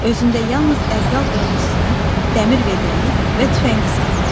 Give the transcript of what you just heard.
Özündə yalnız ədyal qırıntısını, dəmir vedrəni və tüfəngi saxladı.